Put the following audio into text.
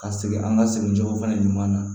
Ka segin an ka segin cogo fɛnɛ ɲuman na